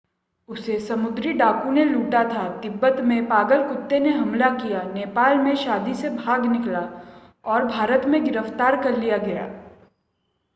उसे समुद्री डाकुओं ने लूटा था तिब्बत में पागल कुत्ते ने हमला किया नेपाल में शादी से भाग निकला और भारत में गिरफ्तार कर लिया गया